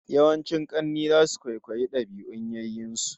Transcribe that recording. Yawancin kanne zasu kwaikwayi dabi'un yayyen su